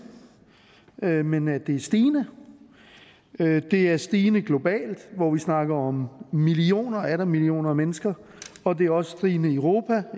men men at det er stigende det er stigende globalt hvor vi snakker om millioner og atter millioner mennesker og det er også stigende i europa